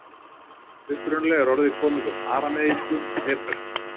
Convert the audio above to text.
Upprunalega er orðið komið úr arameísku og hebresku.